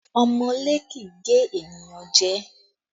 Ọmọọ́lé kì í gé ènìyàn jẹ